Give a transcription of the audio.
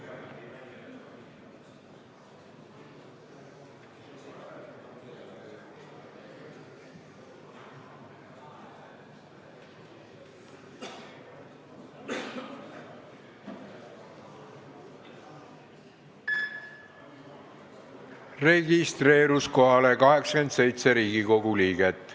Kohaloleku kontroll Kohalolijaks registreerus 87 Riigikogu liiget.